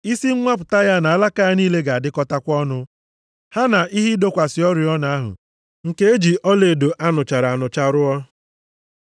Isi nwapụta ya na alaka ya niile ga-adịkọtakwa ọnụ, ha na ihe ịdọkwasị oriọna ahụ, nke e ji ọlaedo a nụchara anụcha rụọ.